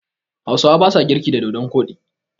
Hausawa basa girki da dodon koɗi.